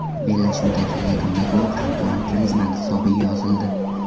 Bellashuvdagi yagona gol Antuan Grizmann hisobiga yozildi.